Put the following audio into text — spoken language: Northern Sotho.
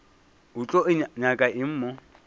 o tlo nyaka eng mo